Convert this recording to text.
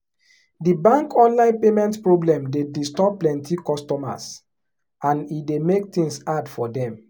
the bank online payment problem dey disturb plenty customers and e dey make things hard for dem.